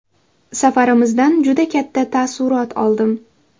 Safarimizdan juda katta taassurot oldim.